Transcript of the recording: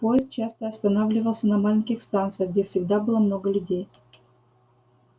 поезд часто останавливался на маленьких станциях где всегда было много людей